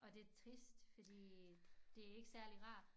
Og det trist fordi det ikke særlig rart